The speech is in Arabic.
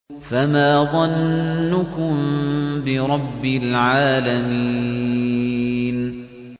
فَمَا ظَنُّكُم بِرَبِّ الْعَالَمِينَ